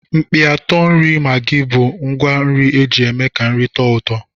Mkpịatọ nri maggi bụ ngwá nri eji eme ka nri tọọ ụtọ.